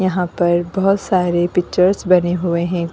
यहां पर बहोत सारे पिक्चर्स बने हुए हैं।